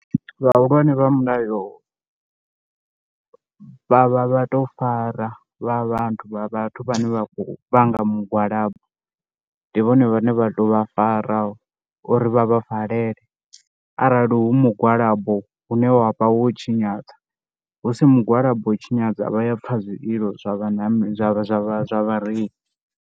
Vhahulwane vha mulayo vha vha vha tou fara vha vhathu vha vhathu vhane vha khou vhanga mugwalabo. Ndi vhone vhane vha tou vha uri vha vha valele arali hu mugwalabo une wa vha wo tshinyadza, hu si mugwalabo tshinyadza vha ya pfha zwililo zwa zwa zwa zwa vhareili.